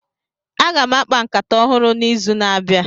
Aga m akpa nkata ọhụrụ n'izu na-abịa.